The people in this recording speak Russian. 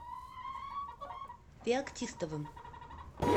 феоктистовым